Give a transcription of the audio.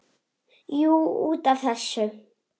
Jú, út af þessu.